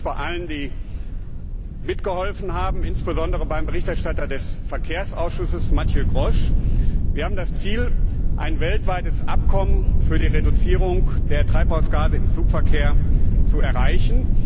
Ich bedanke mich bei allen, die mitgeholfen haben, insbesondere beim Berichterstatter des Verkehrsausschusses, Mathieu Grosch. Wir haben das Ziel, ein weltweites Abkommen für die Reduzierung der Treibhausgase im Flugverkehr zu erreichen.